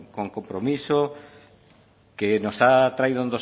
con compromiso que nos ha traído